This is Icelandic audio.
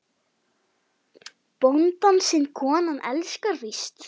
Bónda sinn konan elskar víst.